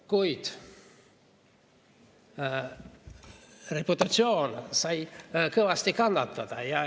Kuid reputatsioon sai kõvasti kannatada.